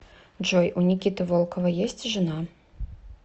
джой у никиты волкова есть жена